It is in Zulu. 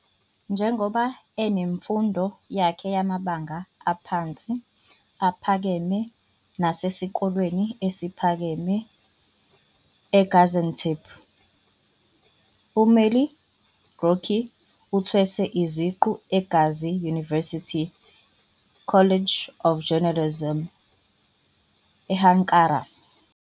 Njengoba enemfundo yakhe yamabanga aphansi, aphakeme nasesikoleni esiphakeme eGaziantep, uMelih Gökçek uthweswe iziqu eGazi University, College of Journalism, e-Ankara.